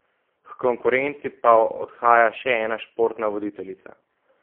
H konkurenci pa odhaja še ena športna voditeljica.